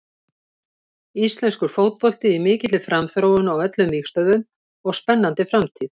Íslenskur fótbolti í mikilli framþróun á öllum vígstöðvum og spennandi framtíð.